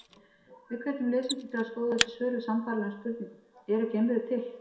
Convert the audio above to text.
Við hvetjum lesendur til að skoða þessi svör við sambærilegum spurningum: Eru geimverur til?